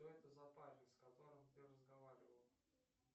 что это за парень с которым ты разговаривал